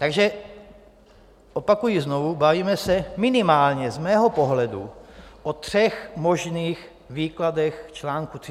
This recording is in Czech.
Takže opakuji znovu, bavíme se minimálně z mého pohledu o třech možných výkladech čl. 32 ústavy.